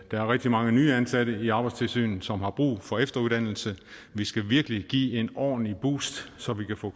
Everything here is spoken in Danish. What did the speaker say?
er rigtig mange nye ansatte i arbejdstilsynet som har brug for efteruddannelse vi skal virkelig give det et ordentligt boost så vi kan få